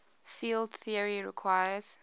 field theory requires